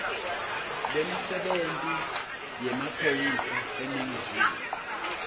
lwemisebenti yemaphoyisa eningizimu